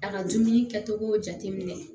A ka dumuni kɛcogo jateminɛ